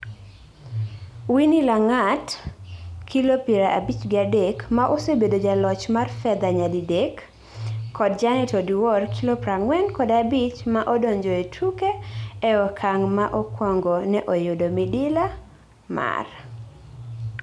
Winny Langat(kilo pira abich gi adek ) ma osebedo jaloch mar fedha nyadiddek kod Janet Oduor(kilo praangwen kod abich) ma odonjoe tuke e okang ma okuongo ne oyudo midila mar